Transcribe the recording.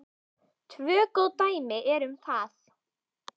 Tvö góð dæmi eru um það.